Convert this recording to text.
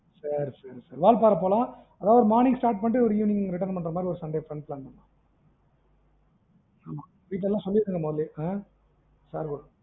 சரி சரி சரி வால்பறை போலாம், அதாவது ஒரு morning start பண்ணீட்டு ஒரு evening return பண்ற மாதிரி வந்துட்டு sunday plan பண்ணலாம் ஆமா வீட்டுலலாம் சொல்லிருங்க முதல்லயே ஆஹ்